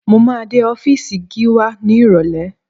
Mo máa dé ọ́fíìsì Gíwá ní Ìrọ̀lẹ̀